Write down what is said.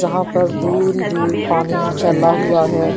जहां पर दूर दूर पानी फैला हुआ है।